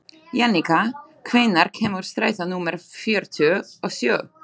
Jannika, hvenær kemur strætó númer fjörutíu og sjö?